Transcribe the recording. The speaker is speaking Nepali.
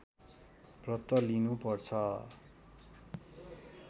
व्रत लिनु पर्छ